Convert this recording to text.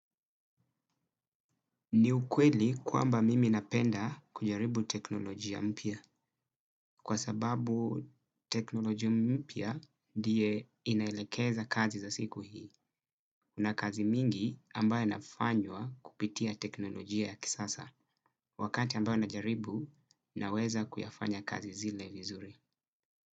Ni ukweli kwamba mimi napenda kujaribu teknolojia mpia kwa sababu teknolojia mpia ndiye inaelekeza kazi za siku hii. Kuna kazi mingi ambaye nafanywa kupitia teknolojia ya kisasa wakati ambaye najaribu naweza kuyafanya kazi zile vizuri.